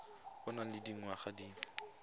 o nang le dingwaga di